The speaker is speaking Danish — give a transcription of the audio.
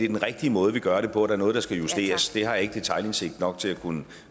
den rigtige måde vi gør det på der er noget der skal justeres det har jeg ikke detailindsigt nok til at kunne